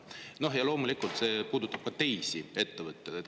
See puudutab loomulikult ka teisi ettevõtteid.